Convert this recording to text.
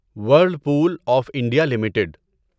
وھرل pool of India limited